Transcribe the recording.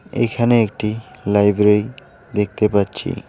এইখানে একটি লাইব্রেরি দেখতে পাচ্ছি।